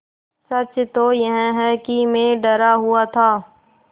सच तो यह है कि मैं डरा हुआ था